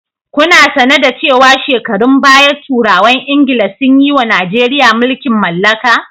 Kuna sane da cewa shekarun baya turawan Ingila sun yiwa Najeriya mulkin mallaka.